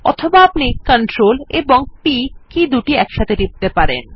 অথবা আপনি CTRL এবং P কী দুটি একসাথে টিপতে পারেন